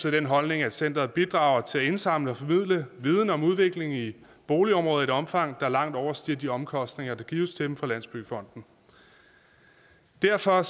af den holdning at centeret bidrager til at indsamle og formidle viden om udviklingen i boligområder i et omfang der langt overstiger de omkostninger der gives til dem fra landsbyggefonden derfor